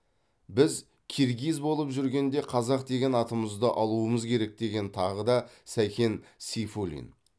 біз киргиз болып жүргенде қазақ деген атымызды алуымыз керек деген тағы да сәкен сейфуллин